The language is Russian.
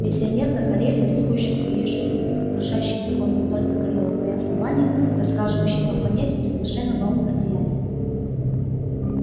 миссионер на кореле рискующий своей жизнью нарушающий законы не только корела но и основания расхаживающий по планете в совершенно новом одеянии